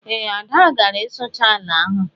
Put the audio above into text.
Ee, Ada gara ịsụcha ala ahụ